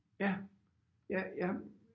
Ja ja jeg